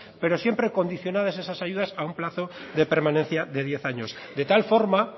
pero siempre condicionadas esas ayudas a un plazo de permanencia de diez años de tal forma